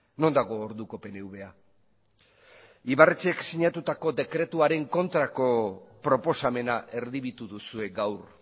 non dago orduko pnva ibarretxek sinatutako dekretuaren kontrako proposamena erdibitu duzue gaur